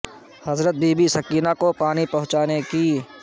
حضرت بی بی سکینہ س کو پانی پہنچانے کی